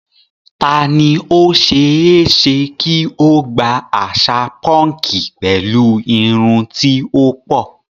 Ta ni ó ṣe é ṣe kí ó gba àṣà púnkì pẹ̀lú irun tí ó pọ̀?